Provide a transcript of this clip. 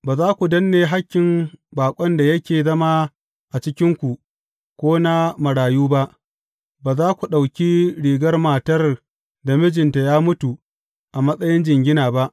Ba za ku danne hakkin baƙon da yake zama a cikinku ko na marayu ba, ba za ku ɗauki rigar matar da mijinta ya mutu a matsayin jingina ba.